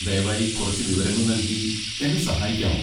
ദയവായി കുറച്ച് വിവരങ്ങൾ നൽകി എന്നെ സഹായിക്കാമോ?